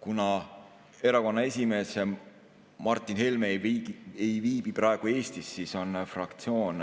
Kuna erakonna esimees Martin Helme ei viibi praegu Eestis, siis on fraktsioon